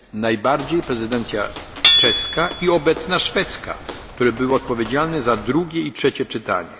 prezydencje najbardziej prezydencja czeska i obecna szwedzka, które były odpowiedzialne za drugie i trzecie